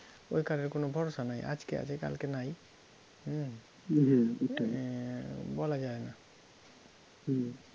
ওই কাঠের কোনো ভরসা নাই, আজকে আছে কালকে নাই হম এ~ বলা যায় না হম